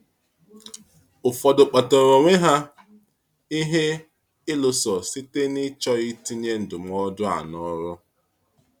Ụfọdụ kpatara onwe ha ihe ịlụso site n’ịchọghị itinye ndụmọdụ a n’ọrụ.